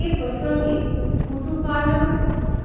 এ প্রসঙ্গে কুতুপালং